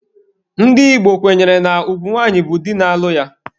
Ndị Igbo kwenyere na ugwu nwanyị bụ di na-alụ ya.